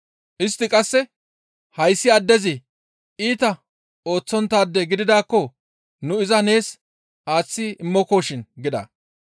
Istti qasse, «Hayssi addezi iita ooththonttaade gididaakko nu iza nees aaththi immokoshin» gida.